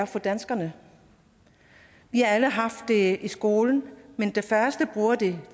for danskerne vi har alle haft det i skolen men de færreste bruger det